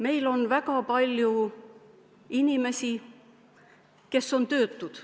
Meil on väga palju inimesi, kes on töötud.